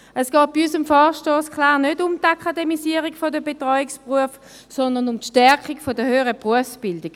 Es geht bei unserem Vorstoss klar um die Akademisierung der Betreuungsberufe, sondern um die Stärkung der höheren Berufsbildung.